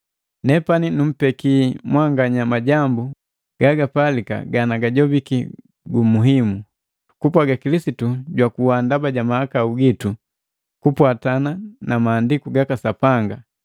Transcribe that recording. Nepani numpeki mwanganya majambu gagapalika ganagajopiki gumuhimu, kupwaga Kilisitu jwakuwa ndaba ja mahakau jitu kupwatana na Maandiku gaka Sapanga,